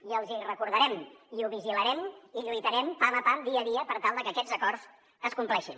i els hi recordarem i ho vigilarem i lluitarem pam a pam dia a dia per tal de que aquests acords es compleixin